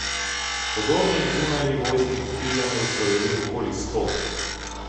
Podobnih zunajnivojskih križanj je v Sloveniji okoli sto.